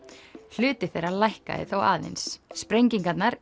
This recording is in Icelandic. hluti þeirra lækkaði þó aðeins sprengingarnar